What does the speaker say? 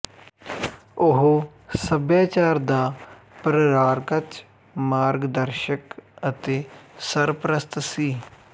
ਉਹ ਸਭਿਆਚਾਰ ਦਾ ਪ੍ਰਰਾਰਕਚ ਮਾਰਗ ਦਰਸ਼ਕ ਅਤੇ ਸਰਪ੍ਰਸਤ ਸੀ